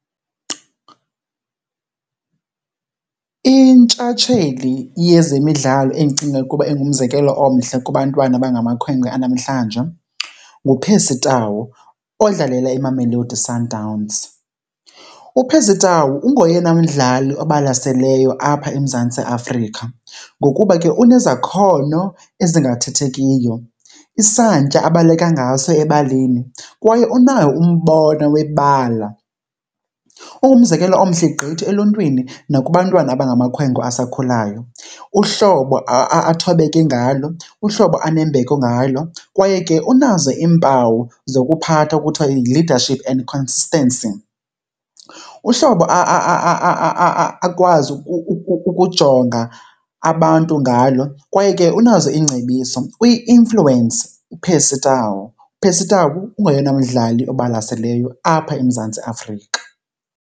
Intshatsheli yezemidlalo endicinga ukuba ingumzekelo omhle kubantwana abangamakhwenkwe anamhlanje nguPercy Tau odlalela iMamelodi Sundowns. UPercy Tau ungoyena mdlali obalaseleyo apha eMzantsi Afrika ngokuba ke unezakhono ezingathethekiyo, isantya abaleka ngaso ebaleni kwaye unawo umbono webala. Ungumzekelo omhle gqithi eluntwini nakubantwana abangamakhwenkwe asakhulayo. Uhlobo athobeke ngalo, uhlobo anembeko ngalo, kwaye ke unazo iimpawu zokuphatha ekuthiwa, ekuthiwa yi-leadership and consistency. Uhlobo akwazi ukujonga abantu ngalo kwaye ke unazo iingcebiso, uyi-influence uPercy Tau. UPercy Tau ungoyena mdlali obalaseleyo apha eMzantsi Afrika.